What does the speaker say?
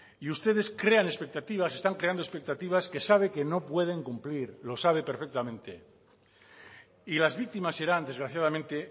y ustedes crean expectativas están creando expectativas que saben que no pueden cumplir lo sabe perfectamente y las víctimas serán desgraciadamente